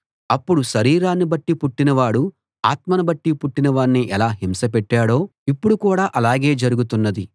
అప్పుడు శరీరాన్ని బట్టి పుట్టినవాడు ఆత్మను బట్టి పుట్టిన వాణ్ణి ఎలా హింస పెట్టాడో ఇప్పుడు కూడా ఆలాగే జరుగుతున్నది